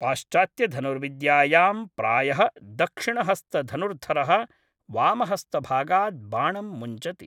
पाश्चात्त्यधनुर्विद्यायां प्रायः दक्षिणहस्तधनुर्धरः वामहस्तभागात् बाणं मुञ्चति।